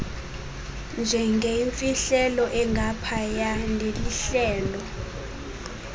njengeyimfihlelo engaphaya nelihlelo